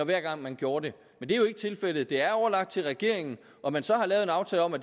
hver gang man gjorde det men det er jo ikke tilfældet det er overladt til regeringen at man så har lavet en aftale om at